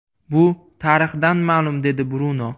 Bu tarixdan ma’lum”, dedi Bruno.